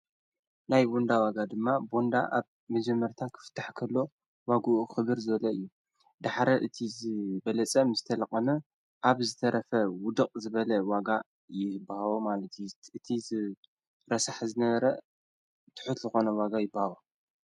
ናይ ቦንዳ ዋጋ ድማ ቦንዳ ኣብ ምጀመርታ ኽፍታሕከሎ ዋጕኡ ኽብር ዘለ እዩ ድኅረ እቲ ዘበለጸ ምዝተልኾነ ኣብ ዝተረፈ ውድቕ ዝበለ ዋጋ ይህብሃቦ ማልቲት እቲ ዝረሳሕዝነረ ትሑትልኾነ ዋጋ ይበሃዋ።